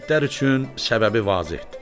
İtlər üçün səbəbi vazehdir.